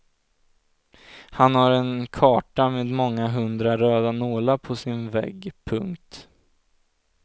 Han har en karta med många hundra röda nålar på sin vägg. punkt